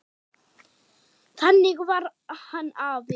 Þannig var hann afi.